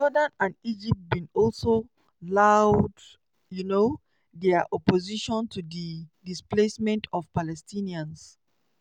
jordan and egypt bin also loud um dia opposition to di "displacement of palestinians".